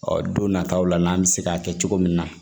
Ɔ don nataw la n'an bɛ se k'a kɛ cogo min na